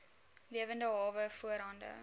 lewende hawe voorhande